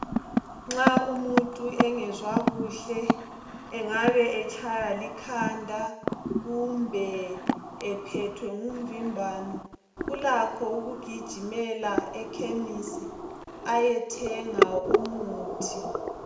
Nxa umuntu engezwa kuhle engabe watshaywa likhanda kumbe ephethwe ngumvimbano ulakho ukugijimela ekhemisi ayethenga umuthi.